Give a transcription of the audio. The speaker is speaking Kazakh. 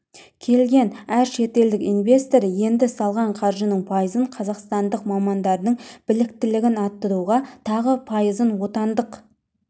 келген әр шетелдік инвестор енді салған қаржысының пайызын қазақстандық мамандардың біліктілігін арттыруға тағы пайызын отандық